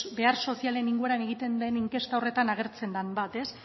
behar sozialen inguruan egiten den inkesta horretan agertzen den bat